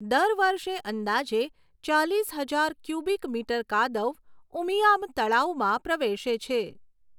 દર વર્ષે અંદાજે ચાલીસ હજાર ક્યુબિક મીટર કાદવ ઉમિયામ તળાવમાં પ્રવેશે છે.